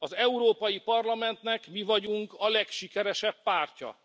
Az Európai Parlamentnek mi vagyunk a legsikeresebb pártja.